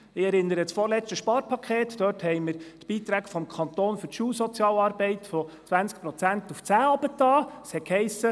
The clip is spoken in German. Ich erinnere an das vorletzte Sparpaket, als wir die Beiträge des Kantons für die Schulsozialarbeit von 20 Prozent auf 10 Prozent senkten.